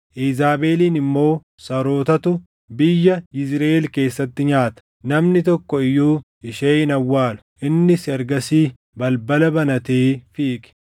Iizaabelin immoo sarootatu biyya Yizriʼeel keessatti nyaata; namni tokko iyyuu ishee hin awwaalu.’ ” Innis ergasii balbala banatee fiige.